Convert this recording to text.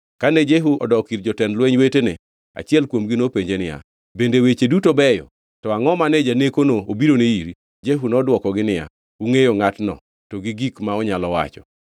Kane Jehu odok ir jotend lweny wetene achiel kuomgi nopenje niya, “Bende weche duto beyo? To angʼo mane janekono obirone iri?” Jehu nodwokogi niya, “Ungʼeyo ngʼatno, to gi gik ma onyalo wacho.”